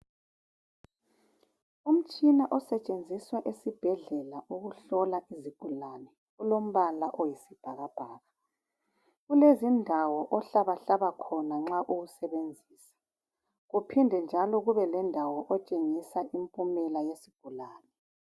Umtshina osetshenziswa esibhedlela ukuhlola izigulane. Ulombala oyisibhakabhaka. Kulezindawo ohlabahlaba khona nxa uwusebenzisa . Kuphinde njalo kube lendawo okutshengisa imphumela yesigulane.